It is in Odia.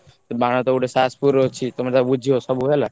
ବାଣ ଟା ଗୋଟେ ଷାସପୁର ରେ ଅଛି ତମେ ତାକୁ ବୁଝିବ ସବୁ ହେଲା।